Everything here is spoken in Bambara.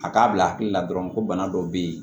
A k'a bila hakili la dɔrɔn ko bana dɔ bɛ yen